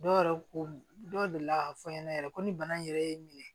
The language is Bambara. Dɔw yɛrɛ ko dɔw delila k'a fɔ n ɲɛna yɛrɛ ko ni bana yɛrɛ ye n minɛ